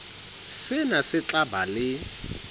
sena se tla ba le